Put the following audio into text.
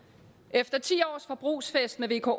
efter ti års forbrugsfest med vko